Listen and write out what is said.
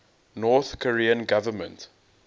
north korean government